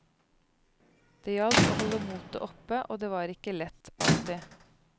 Det gjaldt å holde motet oppe, og det var ikke lett, alltid.